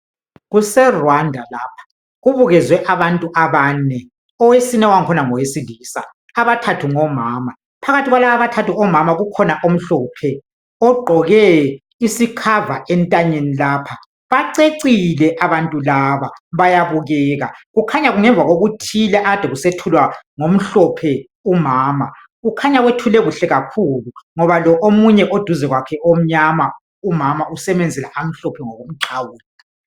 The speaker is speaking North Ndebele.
kuse Rwanda lapha kubukezwe abantu abane owesine wakhona ngowesilisa abathathu ngomama phkathi kwalaba abathathu omama ukhona omhlophe ogqoke isikhava entanyeni lapha bacecile abantu laba bayabukeka kukhanya kungemva kokuthile ade kusethulwa ngomhlphe umama kukhanya wethule kahle kakhulu ngoba lo omunye oduze kwakhe omnyama umama usemenzela amhlophe ngokuxhawula